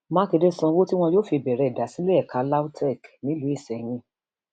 mákindé sanwó tí wọn yóò fi bẹrẹ ìdásílẹ ẹka lautech nílùú iseyín